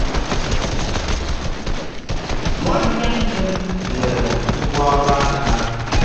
nwanne nne m nyere m ngwá ọrụ aka.